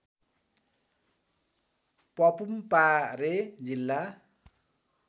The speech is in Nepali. पपुमपारे जिल्ला